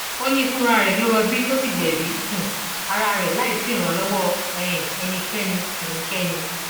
ó ní fúnra rẹ ló rọbí tó sì gbẹbí um ara rẹ láì sí ìrànlọwọ um ẹnikẹni ẹnikẹni